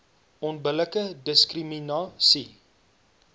onbillike diskrimina sie